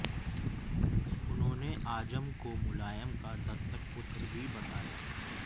उन्होंने आजम को मुलायम का दत्तक पुत्र भी बताया